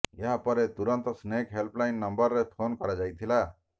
ଏହାପରେ ତୁରନ୍ତ snake help line ନମ୍ବରରେ ଫୋନ କରାଯାଇଥିଲା